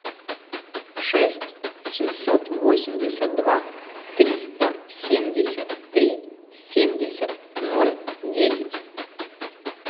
шесть семьсот восемьдесят два триста семьдесят три семьдесят ноль десять